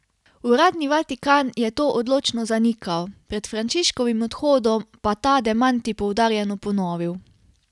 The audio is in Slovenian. Uradni Vatikan je to odločno zanikal, pred Frančiškovim odhodom pa ta demanti poudarjeno ponovil.